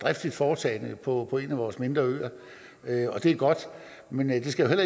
driftigt foretagende på en af vores mindre øer og det er godt men det skal jo